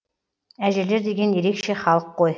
әжелер деген ерекше халық қой